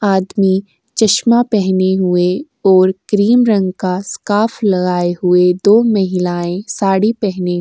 आदमी चश्मा पहने हुए और क्रीम रंग का स्काफ लगाए हुए दो महिलाएं साड़ी पहने --